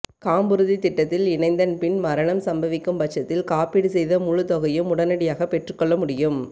காம்புறுதி திட்டத்தில் இணைந்தன் பின் மரணம் சம்பவிக்கும் பட்சத்தில் காப்பீடு செய்த முழு தொகையையும் உடனடியாக பெற்றுக் கொள்ள முடியும்